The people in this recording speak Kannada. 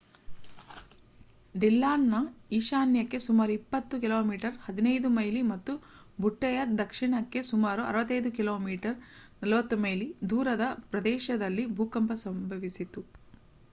ಡಿಲ್ಲಾನ್‌ನ ಈಶಾನ್ಯಕ್ಕೆ ಸುಮಾರು 20 ಕಿ.ಮೀ 15 ಮೈಲಿ ಮತ್ತು ಬುಟ್ಟೆಯ ದಕ್ಷಿಣಕ್ಕೆ ಸುಮಾರು 65 ಕಿ.ಮೀ 40 ಮೈಲಿ ದೂರದ ಪ್ರದೇಶದಲ್ಲಿ ಭೂಕಂಪ ಸಂಭವಿಸಿತು